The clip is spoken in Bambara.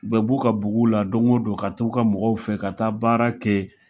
U bɛ b'u ka bugu la don o don, ka t'u ka mɔgɔw fɛ, ka taa baara kɛ